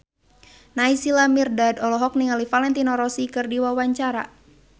Naysila Mirdad olohok ningali Valentino Rossi keur diwawancara